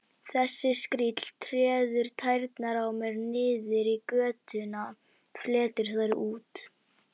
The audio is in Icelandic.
Þessi skríll treður tærnar á mér niður í götuna, fletur þær út.